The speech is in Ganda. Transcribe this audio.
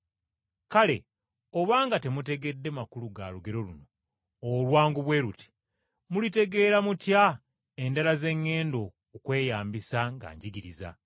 “Kale obanga temutegedde makulu ga lugero luno olwangu bwe luti mulitegeera mutya endala ze ŋŋenda okweyambisa nga njigiriza?